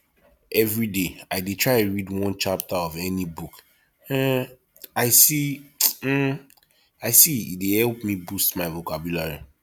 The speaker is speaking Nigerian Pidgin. everyday i dey try read one chapter of any book um i see um i see e dey help me boost my vocabulary